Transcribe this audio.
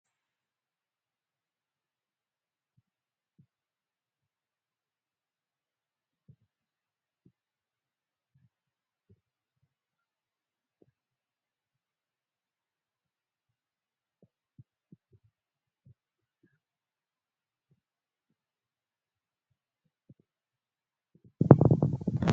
Furtuun balbalaa mana namoota hundaa keessaa hin dhabama jedhanii yaaduun waanta nama amansiisu miti. Sababni isaas namoonni manuma qabanitti karra tolfatanii ittiin cufatanii bahuun amaleeffatameera waanta ta'eef jechuudha. Kanaaf jecha namoonni baay'een meeshaa kana ofeeggannoo guddaadhaan itti fayyadamu.